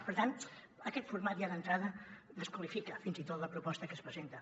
per tant aquest format ja d’entrada desqualifica fins i tot la proposta que es presenta